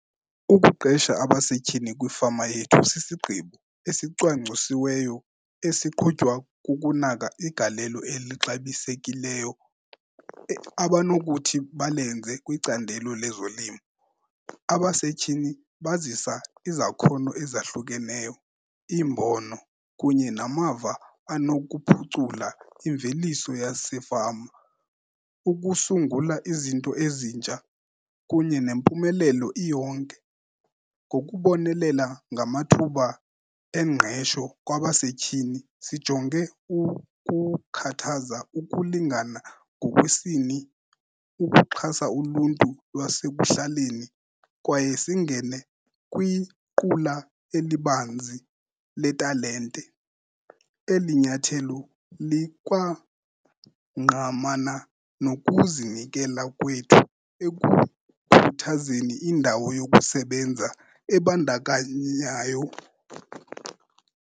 Ukuqesha abasetyhini kwifama yethu sisigqibo esicwangcwisiweyo, esiqhutywa kukunaka igalelo elixabisekileyo abanokuthi balenze kwicandelo lezolimo. Abasetyhini bazisa izakhono ezahlukeneyo, iimbono kunye namava anokuphucula imveliso yasefama ukusungula izinto ezintsha kunye nempumelelo iyonke. Ngokubonelela ngamathuba engqesho kwabasetyhini sijonge ukukhathaza ukulingana ngokwesini, ukuxhasa uluntu lwasekuhlaleni kwaye singene kwiqula elibanzi letalente. Eli nyathelo likwangqamana nokuzinikela kwethu ekukhuthazeni indawo yokusebenza ebandakanyayo.